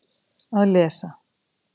Að lesa